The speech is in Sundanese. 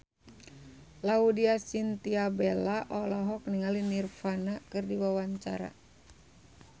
Laudya Chintya Bella olohok ningali Nirvana keur diwawancara